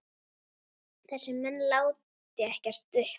Þessir menn láti ekkert uppi.